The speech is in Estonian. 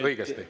Õigesti.